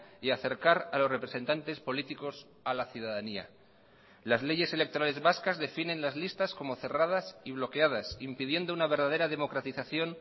y acercar a los representantes políticos a la ciudadanía las leyes electorales vascas definen las listas como cerradas y bloqueadas impidiendo una verdadera democratización